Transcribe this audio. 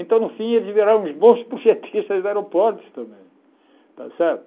Então, no fim, eles viraram uns bons projetistas de aeroportos também, está certo?